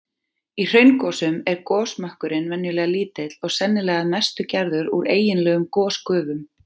Í hraungosum er gosmökkurinn venjulega lítill og sennilega að mestu gerður úr eiginlegum gosgufum.